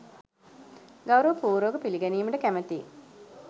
ගෞරව පූර්වකව පිළිගැනීමට කැමැතියි.